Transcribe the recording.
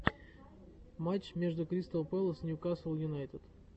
матч между кристал пэлас ньюкасл юнайтед